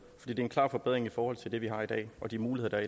det er en klar forbedring i forhold til det vi har i dag og de muligheder